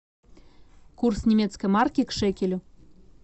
курс немецкой марки к шекелю